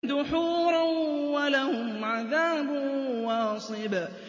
دُحُورًا ۖ وَلَهُمْ عَذَابٌ وَاصِبٌ